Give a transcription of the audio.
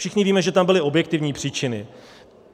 Všichni víme, že tam byly objektivní příčiny.